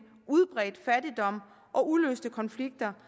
udbredt fattigdom og uløste konflikter